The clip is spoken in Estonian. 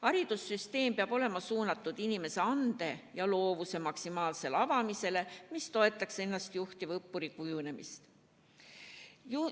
Haridussüsteem peab olema suunatud inimese ande ja loovuse maksimaalsele avamisele, mis toetaks ennastjuhtiva õppuri kujunemist.